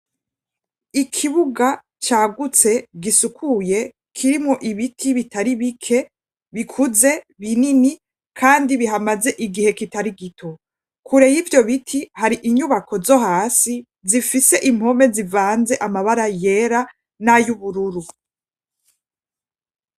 Ikibuga cagutse, gisukuye, kirimo ibiti bitari bike bikuze, binini, kandi bihamaze igihe kitari gito. Kure y'ivyo biti, har'inyubako zo hasi zifise impome zivanze amabara yera n'ay'ubururu.